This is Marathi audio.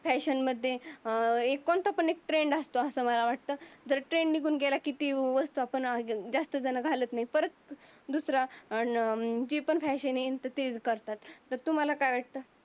फॅशनमध्ये अं एक कोणता जरी फ्रेंड असतो मला असं वाटत. पण त्यांनी पण त्यांला गेला किती वर्ष ज्यास्त झण घालत नाही. पण दूसरा अन अं ते पण तेच फॅशन आणि तेच घालतात. तुम्हाला काय वाटतं?